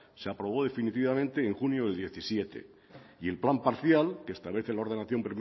se aprobó definitivamente en junio del diecisiete y el plan parcial que establece la ordenación